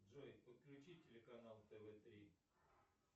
джой подключи телеканал тв три